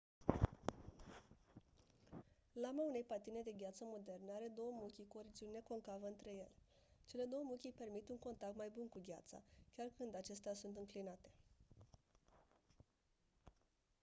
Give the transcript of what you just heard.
lama unei patine de gheață moderne are două muchii cu o regiune concavă între ele cele 2 muchii permit un contact mai bun cu gheața chiar când acestea sunt înclinate